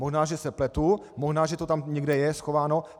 Možná že se pletu, možná že to tam někde je schováno.